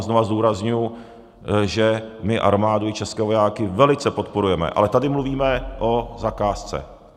A znova zdůrazňuji, že my armádu i české vojáky velice podporujeme, ale tady mluvíme o zakázce.